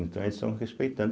Então eles estão respeitando.